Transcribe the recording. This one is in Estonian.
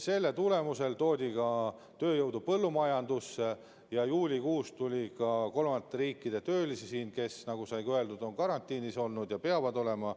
Selle tulemusel toodi tööjõudu ka põllumajandusse ja juulikuus tuli siia kolmandate riikide töölisi, kes, nagu öeldud, on karantiinis olnud ja peavad olema.